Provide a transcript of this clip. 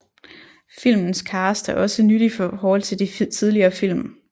Filmens cast er også nyt i forhold de tidligere film